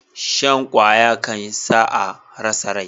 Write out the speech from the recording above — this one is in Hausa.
Shan kwaya kan sa a rasa rai